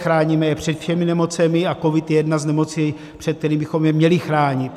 Chráníme je před všemi nemocemi a covid je jedna z nemocí, před kterými bychom je měli chránit.